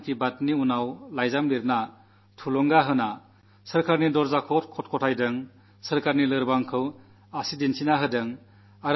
മൻ കീ ബാത് കേട്ടശേഷം കത്തുകളെഴുതിയ നിർദ്ദേശങ്ങൾ നല്കിയ സർക്കാരിന്റെ വാതിൽക്കൽ മുട്ടിവിളിച്ച സർക്കാരിന്റെ കുറവുകളെ വ്യക്തമാക്കിയ നാട്ടുകാരോടും കൃതജ്ഞനാണ്